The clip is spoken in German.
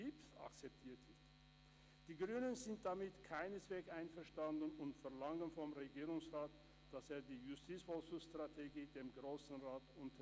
Die Grünen sind damit keineswegs einverstanden und verlangen vom Regierungsrat, dass er die Justizvollzugsstrategie dem Grossen Rat unterbreitet.